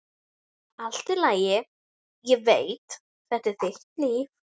Allt í lagi, ég veit, þetta er þitt líf.